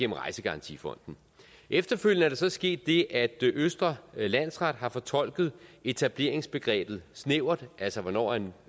rejsegarantifonden efterfølgende er der så sket det at østre landsret har fortolket etableringsbegrebet snævert altså hvornår en